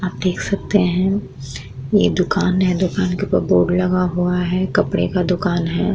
आप देख सकते हैं ये दुकान है। दुकान के ऊपर बोर्ड लगा हुआ है। कपड़े का दुकान है।